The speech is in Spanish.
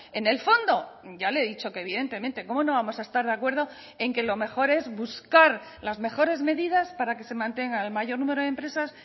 en el fondo ya le he dicho que evidentemente cómo no vamos a estar de acuerdo en que lo mejor es buscar las mejores medidas para que se mantenga el mayor número de empresas